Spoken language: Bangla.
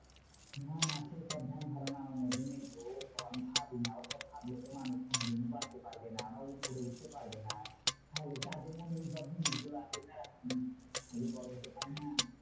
না না সেইসব ধ্যানধারণা আমার মধ্যে নেই গো। ওসব আমি ভাবি না ওসব ভাবলে তো মানুষ কোনোদিন বাড়তে পারবে না বা উপরে উঠতে পারবে না। তাহলে যাদের মনে যতদিন এইগুলো আছে তারা কিন্তু বড় হতে পারে না।